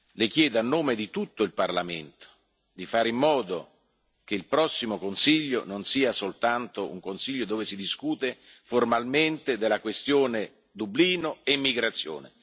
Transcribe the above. Le chiedo, a nome di tutto il Parlamento, di fare in modo che il prossimo Consiglio non sia soltanto un Consiglio dove si discute formalmente della questione Dublino e migrazione.